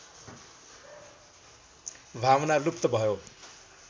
भावना लुप्त भयो